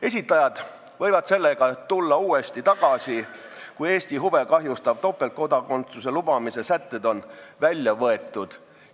Esitajad võivad sellega uuesti tagasi tulla, kui Eesti huve kahjustava topeltkodakondsuse lubamise sätted on välja võetud.